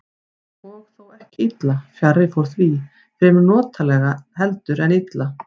Og þó ekki illa, fjarri fór því, fremur notalega heldur en illa.